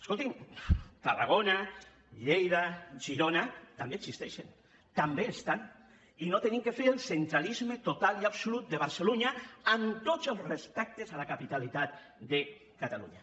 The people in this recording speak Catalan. escoltin tarragona lleida girona també existeixen també hi són i no hem de fer el centralisme total i absolut de barcelunya amb tots els respectes a la capitalitat de catalunya